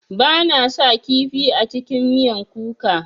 Bana sa kifi a cikin miyan kuka.